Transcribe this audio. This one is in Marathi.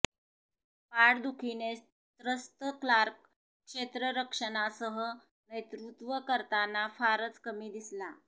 पाठदुखीने त्रस्त क्लार्क क्षेत्ररक्षणासह नेतृत्व करताना फारच कमी दिसला